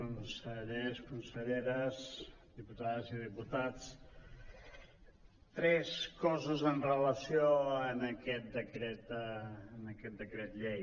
consellers conselleres diputades i diputats tres coses en re·lació amb aquest decret llei